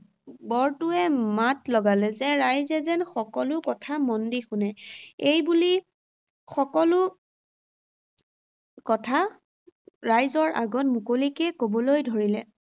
বৰটোৱে মাত লগালে যে ৰাইজে যেন সকলো কথা মন দি শুনে। এইবুলি সকলো কথা, ৰাইজৰ আগত মুকলিকে ক’বলৈ ধৰিলে।